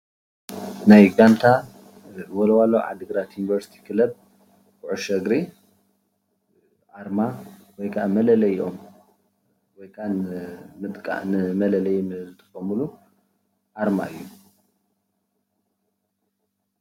ናይ ጋንታ ወልዋሎ ዓዲግራት ዩኒቨርስቲ ክለብ ኩዕሾ እግሪ ኣርማ ወይ ከዓ መለለይኦም ወይ ከዓ ንመለለይ ዝጥቀምሉ ኣርማ እዩ፡፡